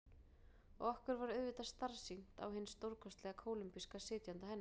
Og okkur varð auðvitað starsýnt á hinn stórkostlega kólumbíska sitjanda hennar.